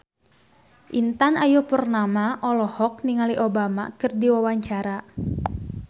Intan Ayu Purnama olohok ningali Obama keur diwawancara